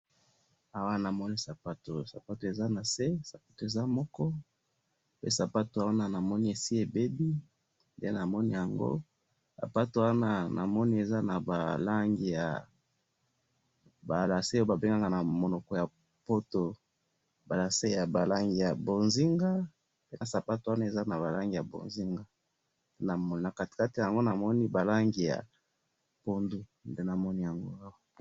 Awa namoni sapato ,sapato eza na see ,sapato eza moko pe sapato wana namoni esi ebebi nde namoni yango ,sapato wana namoni eza na ba langi ya ba lacets oyo babengaka na monoko ya poto ba lacets ya ba langi ya bonzinga ,pe sapato wana eza na ba lacets ya bonzinga na kati kati yango namoni ba langi ya pondu nde namoni yango